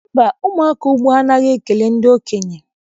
Mba, ụmụaka ugbua anaghị ekele ndị okenye.